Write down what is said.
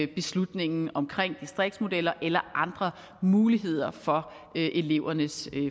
beslutningen om distriktsmodeller eller andre muligheder for elevernes